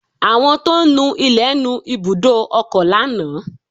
Àwọn tó ń nu ilẹ̀ nu ibùdó ọkọ̀ lánàá